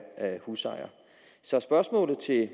husejer så spørgsmålet til